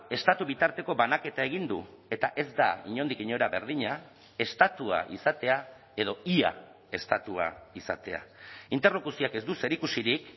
estatu bitarteko banaketa egin du eta ez da inondik inora berdina estatua izatea edo ia estatua izatea interlokuzioak ez du zerikusirik